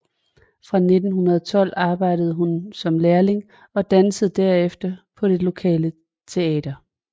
Fra 1912 arbejdede hun som lærling og dansede derefter på det lokale teater